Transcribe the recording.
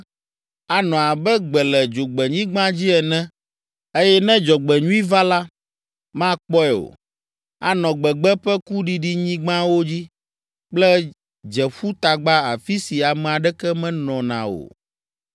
Anɔ abe gbe le dzogbenyigba dzi ene eye ne dzɔgbenyui va la, makpɔe o. Anɔ gbegbe ƒe kuɖiɖinyigbawo dzi kple dzeƒutagba afi si ame aɖeke menɔna o.”